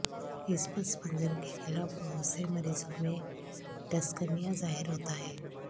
اس پس منظر کے خلاف بہت سے مریضوں میں ڈسکنیہ ظاہر ہوتا ہے